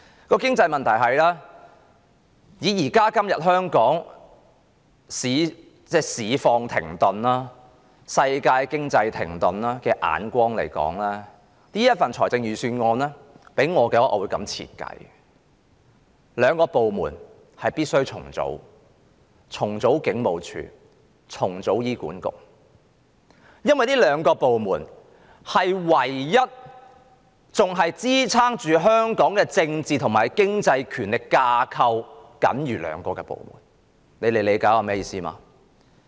關於經濟問題，從現今香港市況停頓及世界經濟停頓的角度，我會對這份預算案作這樣的解說：有兩個部門必須重組，就是警務處及醫院管理局，因為這兩個部門是仍在支撐香港的政治和經濟權力架構的僅餘部門，大家理解我的意思嗎？